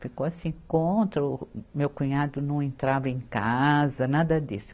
Ficou assim contra, o meu cunhado não entrava em casa, nada disso.